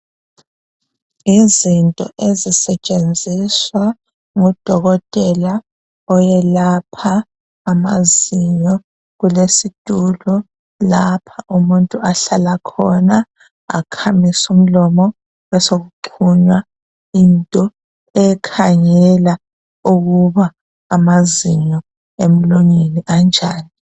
Yizinto ezisetshenziswa ngudokotela oyelapha amazinyo. Kulesitulo lapho umuntu ahlala khona akhamise umlomo, besekuxhunywa into ekhangela ukuba amazinyo emlonyeni anjani.